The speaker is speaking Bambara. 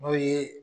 N'o ye